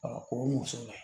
o muso la